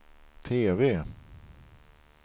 TV